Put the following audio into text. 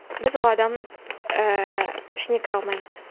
біз ол адамның ііі ішіне кіре алмаймыз